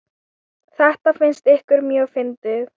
Þetta fannst ykkur mjög fyndið.